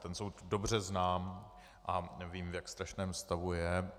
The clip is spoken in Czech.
Ten soud dobře znám a vím, v jak strašném stavu je.